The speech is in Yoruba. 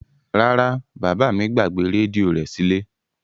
Rara, baba mi gbagbe redio rẹ sile.